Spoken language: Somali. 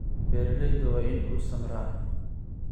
Beeralayda waa in uu samraa.